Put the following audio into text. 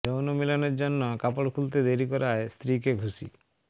যৌন মিলনের জন্য কাপড় খুলতে দেরি করায় স্ত্রীকে ঘুষি